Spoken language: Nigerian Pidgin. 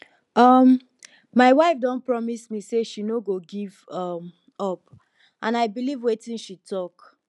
um my wife don promise me say she no go give um up and i believe wetin she talk